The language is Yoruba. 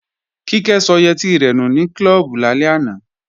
Kíkẹ́ sọ yẹtí rẹ̀ nù ní klọ́ọ̀bù lálẹ́ àná